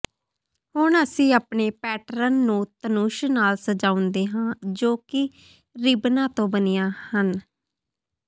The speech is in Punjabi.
ਹੁਣ ਅਸੀਂ ਆਪਣੇ ਪੈਟਰਨ ਨੂੰ ਧਨੁਸ਼ ਨਾਲ ਸਜਾਉਂਦੇ ਹਾਂ ਜੋ ਕਿ ਰਿਬਨਾਂ ਤੋਂ ਬਣੀਆਂ ਹਨ